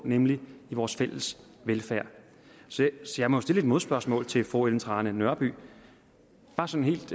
nemlig i vores fælles velfærd så jeg må jo stille et modspørgsmål til fru ellen trane nørby bare sådan helt